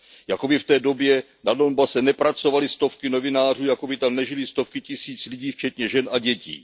Jakoby v té době na Donbase nepracovaly stovky novinářů, jakoby tam nežily stovky tisíc lidí včetně žen a dětí.